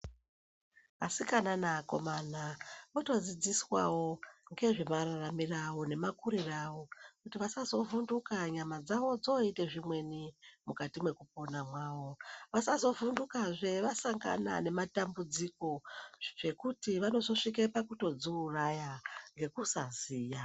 Asikana ne akomana, votodzidziswawo ngezvemararamiro awo nemakuriro awo kuti vasazovhunduka nyama dzawo dzoite zvimweni mukati mekupona mawo. Vasazovhundaka zve vasangana nematambudziko zvekuti vanozvoswike pakuzviuraya ngekusaziya.